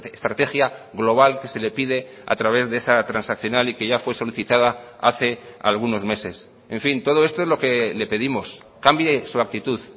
estrategia global que se le pide a través de esa transaccional y que ya fue solicitada hace algunos meses en fin todo esto es lo que le pedimos cambie su actitud